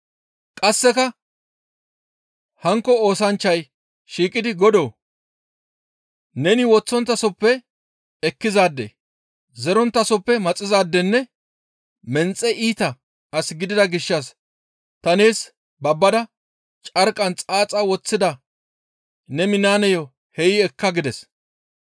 «Qasseka hankko oosanchchay shiiqidi, ‹Godoo! Neni woththonttasoppe ekkizaade; zeronttasoppe maxizaadenne menxe iita as gidida gishshas ta nees babbada carqqan xaaxa woththida ne minaaneyo hey ekka› gides.